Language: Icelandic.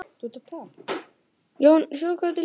Honum tókst ekki að blekkja Katrínu aftur.